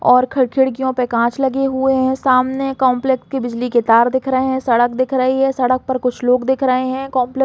और फिर खिड़किओं पर कांच लगी हुए है सामने कॉम्प्लेक्स के बिजली के तार दिख रहे है सड़क दिख रहे है सड़क पर कुछ लोग दिख रहे है कॉम्प्लेक्स --